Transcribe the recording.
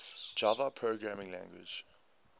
java programming language